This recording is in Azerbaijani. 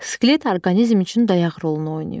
Skelet orqanizm üçün dayaq rolunu oynayır.